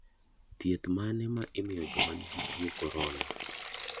Thieth mane ma imiyo joma ni gi tuo korona?